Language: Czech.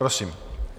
Prosím.